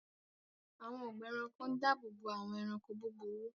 Àwọn ọgbà ẹranko ń dáàbòbò àwọn ẹranko búburú